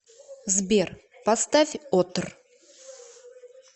сбер поставь отр